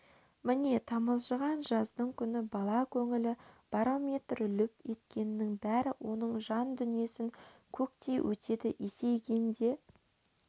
міне тамылжыған жаздың күні бала көңілі барометр лүп еткеннің бәрі оның жан дүниесін көктей өтеді есейгенде